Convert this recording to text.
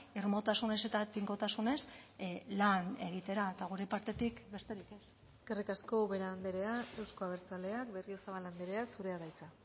irmotasunez eta tinkotasunez lan egitera eta gure partetik besterik ez eskerrik asko ubera andrea euzko abertzaleak berriozabal andrea zurea da hitza